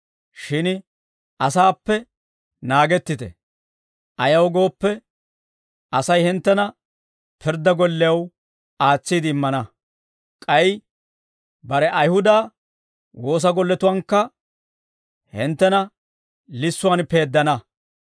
Shin asaappe naagettite. Ayaw gooppe, Asay hinttena pirddaa gollew aatsiide immana; k'ay bare Ayihuda woosa golletuwaankka hinttena lissuwaan peeddana.